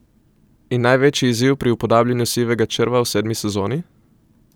In največji izziv pri upodabljanju Sivega črva v sedmi sezoni?